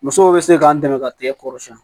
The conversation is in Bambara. Musow bɛ se k'an dɛmɛ ka tigɛ kɔrɔsiyɛn